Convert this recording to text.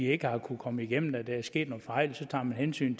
ikke har kunnet komme igennem at der er sket nogle fejl tager man hensyn